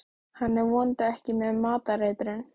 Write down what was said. Hann er vonandi ekki með matareitrun.